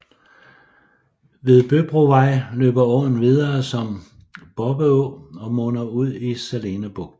Ved Røbrovej løber åen videre som Bobbeå og munder ud i Salene Bugt